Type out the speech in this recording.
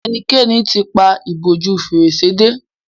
ṣe ẹnikẹni t'in pá ìbòjú Fèrèsé dé